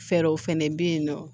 Fɛɛrɛw fɛnɛ be yen nɔ